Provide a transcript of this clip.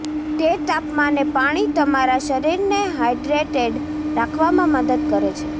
તે તાપમાને પાણી તમારા શરીરને હાઇડ્રેટેડ રાખવામાં મદદ કરે છે